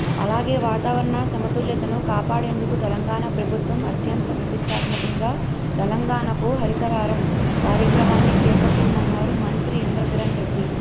అలాగే వాతావరణ సమతుల్యతను కాపాడేందుకు తెలంగాణ ప్రభుత్వం అత్యంత ప్రతిష్ఠాత్మకంగా తెలంగాణకు హరితహారం కార్యక్రమాన్ని చేపట్టిందన్నారు మంత్రి ఇంద్రకరణ్ రెడ్డి